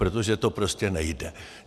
Protože to prostě nejde.